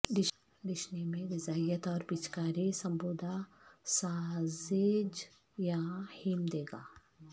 ڈشنی میں غذائیت اور پچی کاری سمبودہ ساسیج یا ہیم دے گا